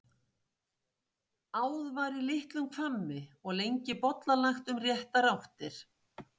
Áð var í litlum hvammi og lengi bollalagt um réttar áttir.